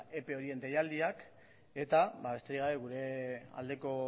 ope horien deialdiak eta besterik gabe gure aldeko